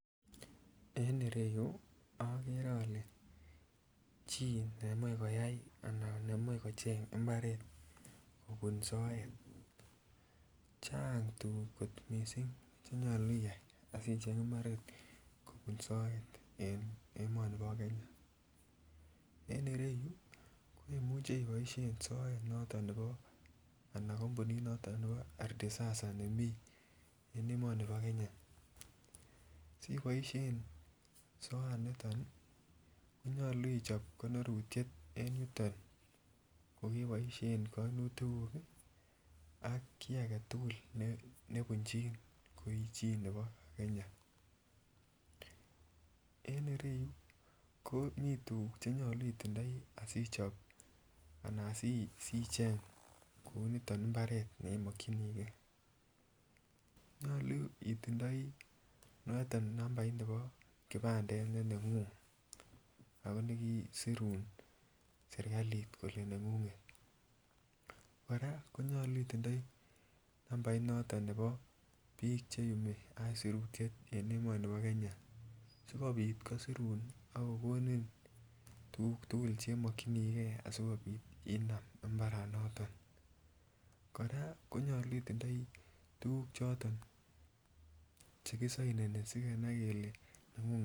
En ireyu ogere ole chi nemoi koyay anan nemoi kocheng imbaret kobun soet, chang tugug kot missing che nyolu iyay asicheng imbaret kobun soet en emoni bo Kenya en ireyu imuche iboishen soet anan kompunit noton nebo ARDISASA nemii en emoni bo Kenya. Siboishen soaniton ii konyoluu ichob konorutiet en yuton ko keboishen konutigug ii ak kii agetugul nebuchin ko ii chi agetugul nebo Kenya. En ireyu komii tugug che nyoluu itindoi asichob anan asicheng kou niton imbaret ne imokyinigee, nyoluu itindoi nambait ab kibandet noton ne nengung ago nekisirun serikalit kolee nenguget koraa nyoluu itindoi nambait noton nebo bik cheyumii aisirutiet en emoni bo Kenya asikopit ko kosirun ako gonon tugug tugul chemokyigee asikopit inam mbara noton koraa nyoluu itindoi tugug choton che kisoinenii sikenai kelee nengung